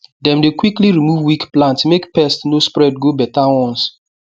dem dey quickly remove weak plant make pest no spread go better ones